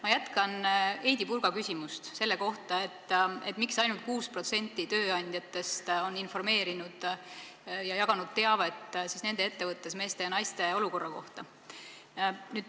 Ma jätkan Heidy Purga küsimust selle kohta, miks ainult 6% tööandjatest on informeerinud töötajaid ja jaganud ettevõttes teavet meeste ja naiste olukorra kohta.